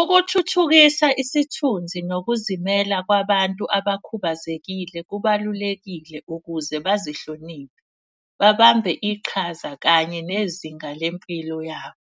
Ukuthuthukisa isithunzi nokuzimela kwabantu abakhubazekile kubalulekile ukuze bazihloniphe, babambe iqhaza kanye nezinga lempilo yabo.